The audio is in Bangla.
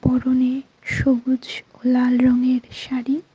পরনে সবুজ ও লাল রঙের শাড়ি।